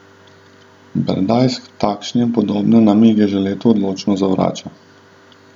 Berdajs takšne in podobne namige že leta odločno zavrača.